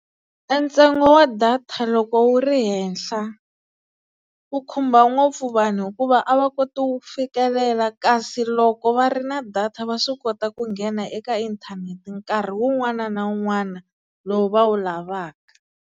E ntsengo wa data loko wu ri henhla, u khumba ngopfu vanhu hikuva a va koti wu fikelela, kasi loko va ri na data va swi kota ku nghena eka inthanete nkarhi wun'wana na wun'wana lowu va wu lavaka.